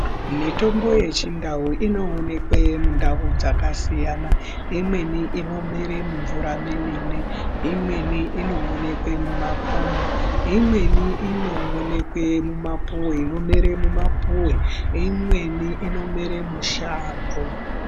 Mitombo yechindau inoonekwe mundau dzakasiyana imweni i omera mumvura memene imwe inoonekwa mumakomo imweni inoonekwe mumapuwe inomere mumapuwe imweni inomere mushango .